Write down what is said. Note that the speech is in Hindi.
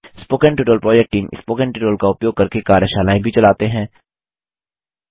spoken tutorial project team spoken tutorial का उपयोग करके कार्यशालाएँ भी चलाते हैं